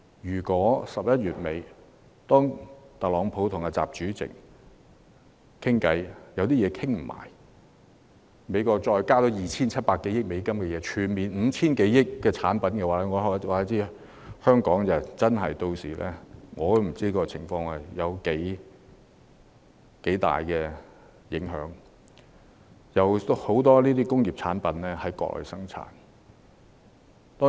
如果11月底特朗普和習主席在會談上未能達成全面共識，美國額外對 2,700 億美元的產品徵收關稅，即合共將有達 5,000 多億美元的產品被徵收關稅。